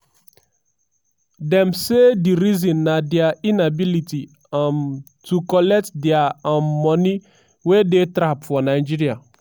dem say di reason na dia inability um to collect dia um money wey dey trap for nigeria.